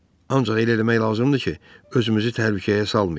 Ancaq elə eləmək lazımdır ki, özümüzü təhlükəyə salmayaq.